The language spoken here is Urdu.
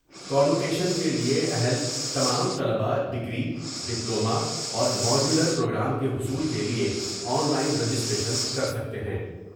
کانوکیشن کے لیے اہل تمام طلبا ڈگری ، ڈپلوما اور ماڈیولر پروگرام کے حصول کے لیے آن لائن رجسٹریشن کر سکتے ہیں ۔